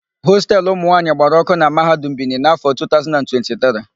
Hostelu ụmụnwaanyị gbara ọ́kụ́ na Mahadum Bini n'áfọ̀ a 2023.